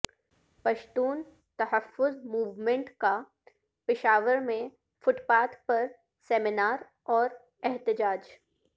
Pashtun Tahaffuz Movement کا پشاور میں footpath پر سیمینار اور احتجاج